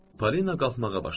Polina qalxmağa başladı.